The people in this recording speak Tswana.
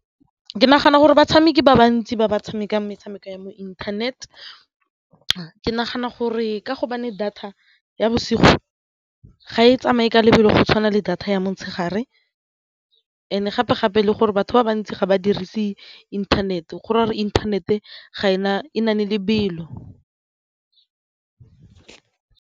Ke nagana gore batshameki ba bantsi ba ba tshamekang metshameko ya mo internet, ke nagana gore ka gobane data ya bosigo ga e tsamaye ka lebelo go tshwana le data ya motshegare and gape-gape le gore batho ba bantsi ga ba dirise inthanete gore inthanete e na le lebelo.